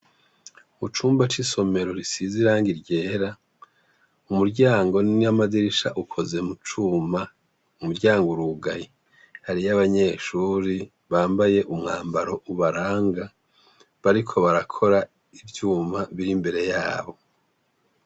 Mu cumba c'isomero risize irangi ryera, umuryango n'amadirisha ukoze mu cuma, umuryango urugaye, hariyo abanyeshuri bambaye umwambaro ubaranga, bariko barakora ivyuma biri imbere yabo.